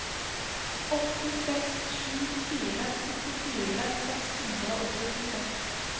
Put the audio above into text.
åtte seks sju fire syttifire seks hundre og syttiseks